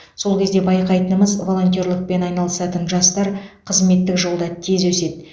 сол кезде байқайтынымыз волонтерлікпен айналысатын жастар қызметтік жолда тез өседі